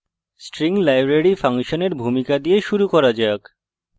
string library ফাংশনের ভূমিকা দিয়ে শুরু করা যাক